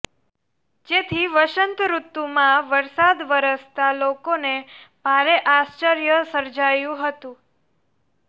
જેથી વસંત ઋતુમાં વરસાદ વરસતા લોકોને ભારે આશ્ચર્ય સર્જાયું હતું